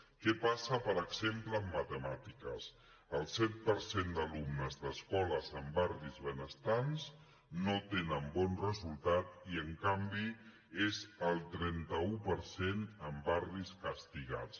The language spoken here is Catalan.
què passa per exemple en matemàtiques el set per cent d’alumnes d’escoles en barris benestants no tenen bon resultat i en canvi és el trenta un per cent en bar·ris castigats